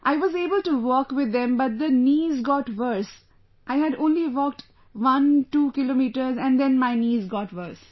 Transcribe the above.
I was able to walk with them but the knees got worse, I had only walked 12 kilometers and then my knees got worse